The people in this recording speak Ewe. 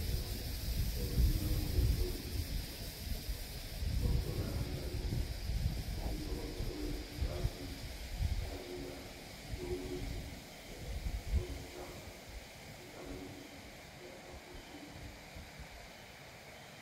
Esɔdolawo le esɔ dzi, esɔkplɔla le ŋgɔ, nyɔnu woame eve wole esɔ dzi ɖeka le anyigba le wo ɖum le esɔ ŋuti kam le aƒu to.